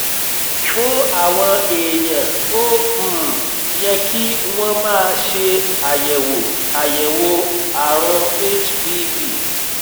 fún àwọn èèyàn ó um yẹ kí wọ́n máa ṣe àyẹ̀wò àyẹ̀wò àrùn hpv